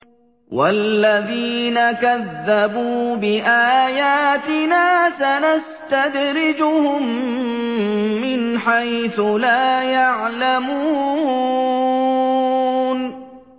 وَالَّذِينَ كَذَّبُوا بِآيَاتِنَا سَنَسْتَدْرِجُهُم مِّنْ حَيْثُ لَا يَعْلَمُونَ